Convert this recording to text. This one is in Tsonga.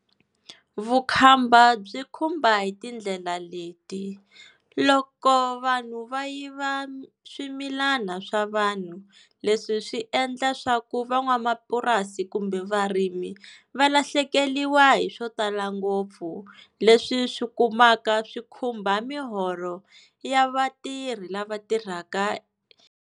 Vukhamba byi khumba hi tindlela leti, loko vanhu va yiva swimilana swa vanhu leswi swi endla swa ku van'wamapurasi kumbe varimi va lahlekeriwa hi swo tala ngopfu, leswi swi kumaka swi khumba miholo ya vatirhi lava tirhaka.